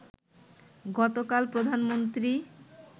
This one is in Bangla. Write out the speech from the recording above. গতকাল প্রধানমন্ত্রী